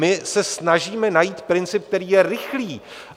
My se snažíme najít princip, který je rychlý.